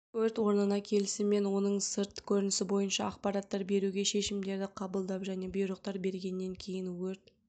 өрт орынына келісімен оның сырт көрінісі бойынша ақпараттар беруге шешімдерді қабылдап және бұйрықтар бергеннен кейін өрт